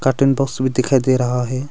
Ten box भी दिखाई दे रहा है।